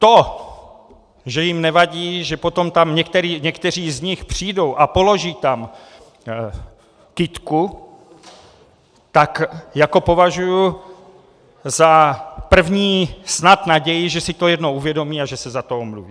To, že jim nevadí, že potom tam někteří z nich přijdou a položí tam kytku, tak jako považuji za první snad naději, že si to jednou uvědomí a že se za to omluví.